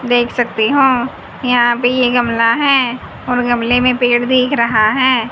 देख सकते हो यहां पे ये गमला है और गमले में पेड़ भी दिख रहा है।